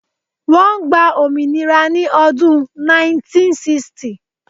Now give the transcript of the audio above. Wọ́n gba òmìnira ni ọdún 1960